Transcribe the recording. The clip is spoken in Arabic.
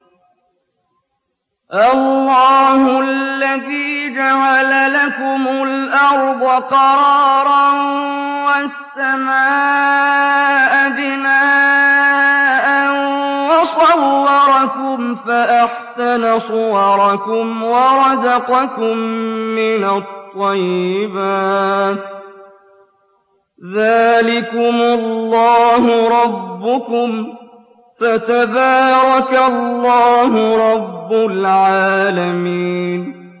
اللَّهُ الَّذِي جَعَلَ لَكُمُ الْأَرْضَ قَرَارًا وَالسَّمَاءَ بِنَاءً وَصَوَّرَكُمْ فَأَحْسَنَ صُوَرَكُمْ وَرَزَقَكُم مِّنَ الطَّيِّبَاتِ ۚ ذَٰلِكُمُ اللَّهُ رَبُّكُمْ ۖ فَتَبَارَكَ اللَّهُ رَبُّ الْعَالَمِينَ